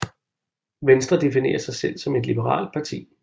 Venstre definerer sig selv om et liberalt parti